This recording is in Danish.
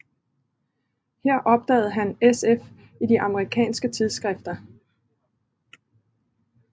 Her opdagede han sf i de amerikanske tidsskrifter